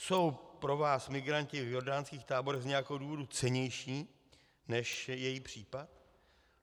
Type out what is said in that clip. Jsou pro vás migranti v jordánských táborech z nějakého důvodu cennější než její případ?